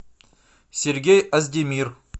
сергей оздемир